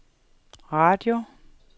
radio